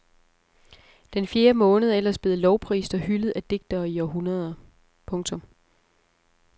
Den fjerde måned er ellers blevet lovprist og hyldet af digtere i århundreder. punktum